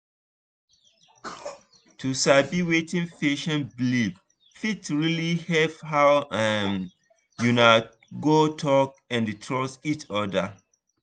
to sabi wetin patient believe fit really help how um una go talk and trust each other.